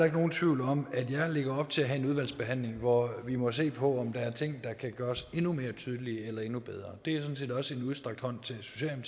ikke nogen tvivl om at jeg lægger op til at have en udvalgsbehandling hvor vi må se på om der er ting der kan gøres endnu mere tydelige eller endnu bedre det er sådan set også en udstrakt hånd til